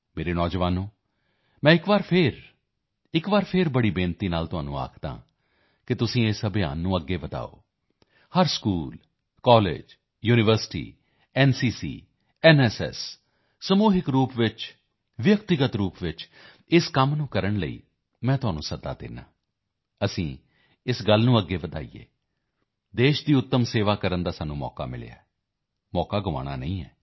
ਮੇਰੇ ਨੌਜਵਾਨੋਂ ਮੈਂ ਫਿਰ ਇੱਕ ਵਾਰ ਫਿਰ ਇੱਕ ਵਾਰ ਵੱਡੀ ਬੇਨਤੀ ਨਾਲ ਤੁਹਾਨੂੰ ਕਹਿੰਦਾ ਹਾਂ ਕਿ ਤੁਸੀਂ ਇਸ ਅਭਿਆਨ ਨੂੰ ਅੱਗੇ ਵਧਾਓ ਹਰ school college university NCC NSS ਸਮੂਹਿਕ ਰੂਪ ਨਾਲ ਵਿਅਕਤੀਗਤ ਰੂਪ ਨਾਲ ਇਸ ਕੰਮ ਨੂੰ ਕਰਨ ਲਈ ਮੈਂ ਤੁਹਾਨੂੰ ਸੱਦਾ ਦਿੰਦਾ ਹਾਂ ਅਸੀਂ ਇਸ ਗੱਲ ਨੂੰ ਅੱਗੇ ਵਧਾਈਏ ਦੇਸ਼ ਦੀ ਉੱਤਮ ਸੇਵਾ ਕਰਨ ਦਾ ਸਾਨੂੰ ਅਵਸਰ ਮਿਲਿਆ ਹੈ ਮੌਕਾ ਗਵਾਉਣਾ ਨਹੀਂ ਹੈ